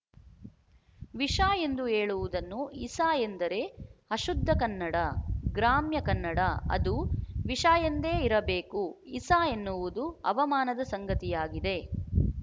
ವಿಷ ಎಂದು ಹೇಳುವುದನ್ನು ಇಸ ಎಂದರೆ ಅಶುದ್ಧ ಕನ್ನಡ ಗ್ರಾಮ್ಯ ಕನ್ನಡ ಅದು ವಿಶ ಎಂದೆ ಇರಬೇಕು ಇಸ ಎನ್ನುವುದು ಅವಮಾನದ ಸಂಗತಿಯಾಗಿದೆ